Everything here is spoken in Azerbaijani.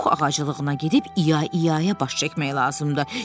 Pux ağaclığına gedib İya-İyaya baş çəkmək lazımdır.